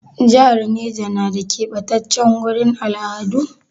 Jihar Neja na da ƙebatace gurin al'adu?